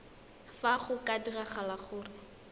fa go ka diragala gore